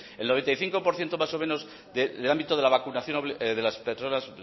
el noventa y cinco por ciento más o menos del ámbito de la vacunación de las personas